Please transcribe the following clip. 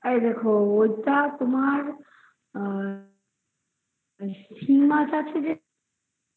ও ওটা তোমার আ শিঙমাছ আছে যে